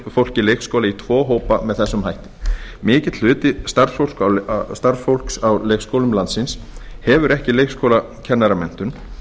leikskóla í tvo hópa með þessum hætti mikill hluti starfsfólks á leikskólum landsins hefur ekki leikskólakennaramenntun